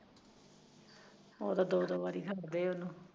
ਉਹ ਤਾਂ ਦੋ ਦੋ ਵਾਰੀ ਹੁੰਦੀ ਐ ਉਹਨੂੰ